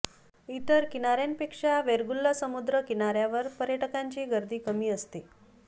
इतर किनाऱ्यांपेक्षा वेंगुर्ला समुद्र किनाऱ्यावर पर्यटकांची गर्दी कमी असते